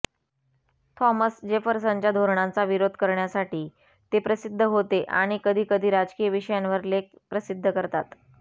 Thomas जेफरसनच्या धोरणांचा विरोध करण्यासाठी ते प्रसिद्ध होते आणि कधीकधी राजकीय विषयांवर लेख प्रसिद्ध करतात